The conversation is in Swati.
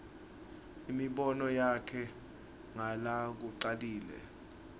imibono yakhe ngalokucacile